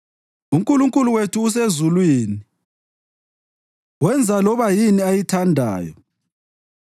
UNkulunkulu wethu usezulwini; wenza loba yini ayithandayo.